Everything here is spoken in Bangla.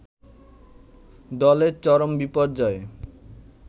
দলের চরম বিপর্যয়ে